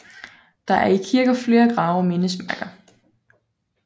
Der er i kirken flere grave og mindesmærker